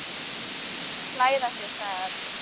Klæða sig sagði Örn.